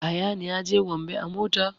Ayaan ya je gombe a mota